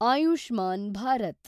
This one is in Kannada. ಆಯುಷ್ಮಾನ್ ಭಾರತ್